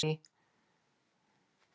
Ég er ekki með því.